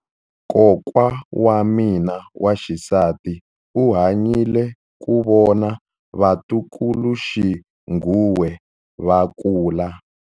Kokwa wa mina wa xisati u hanyile ku vona vatukuluxinghuwe va kula.